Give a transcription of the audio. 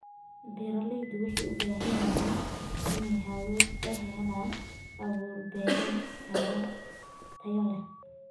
Beeraleydu waxay u baahan yihiin inay helaan abuur-beereed tayo leh.